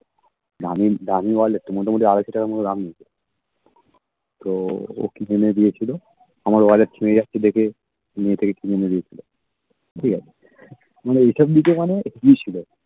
দামী দামী wallet মোটামুটি আড়াইশো টাকার মতো দাম নিয়েছে তো ও কি জন্য দিয়েছিলো আমার wallet যাচ্ছে দেখে নিজে থেকে কিনে এনে দিয়েছিলো ঠিক আছে মানে এইসব দিকে মানে ই ছিলো